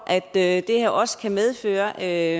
at det her også kan medføre at